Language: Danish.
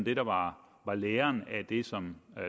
det der var læren af det som